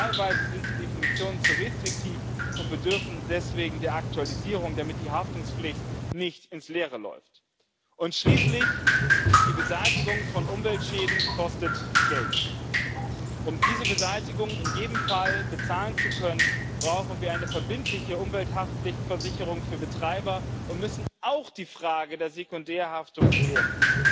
Teilweise sind die Definitionen zu restriktiv und bedürfen deswegen der Aktualisierung, damit die Haftungspflicht nicht ins Leere läuft. Und schließlich, die Beseitigung von Umweltschäden kostet Geld. Um diese Beseitigung in jedem Fall bezahlen zu können, brauchen wir eine verbindliche Umwelthaftpflichtversicherung für Betreiber und müssen auch die Frage der Sekundärhaftung klären.